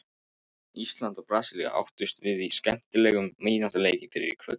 Ísland og Brasilía áttust við í skemmtilegum vináttuleik fyrr í kvöld.